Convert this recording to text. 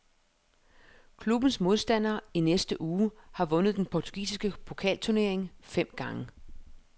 Klubbens modstander i næste uge har vundet den portugisiske pokalturnering fem gange.